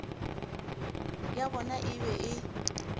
ya bona e be e